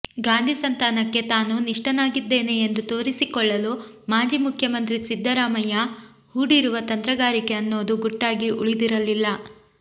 ಗಾಂಧಿ ಸಂತಾನಕ್ಕೆ ತಾನು ನಿಷ್ಟನಾಗಿದ್ದೇನೆ ಎಂದು ತೋರಿಸಿಕೊಳ್ಳಲು ಮಾಜಿ ಮುಖ್ಯಮಂತ್ರಿ ಸಿದ್ದರಾಮಯ್ಯ ಹೂಡಿರುವ ತಂತ್ರಗಾರಿಕೆ ಅನ್ನೋದು ಗುಟ್ಟಾಗಿ ಉಳಿದಿರಲಿಲ್ಲ